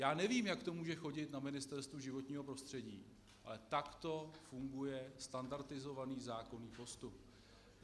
Já nevím, jak to může chodit na Ministerstvu životního prostředí, ale takto funguje standardizovaný zákonný postup.